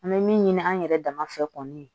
An bɛ min ɲini an yɛrɛ dama fɛ kɔni